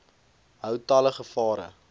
hou talle gevare